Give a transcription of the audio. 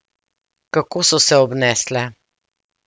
Kako so se obnesle?